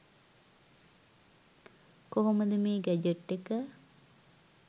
කොහොමද මේ ගැජට් එක